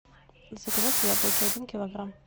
заказать яблоки один килограмм